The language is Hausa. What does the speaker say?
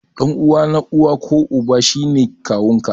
Ɗan uwa na uwa ko Uba shi ne kawun ka.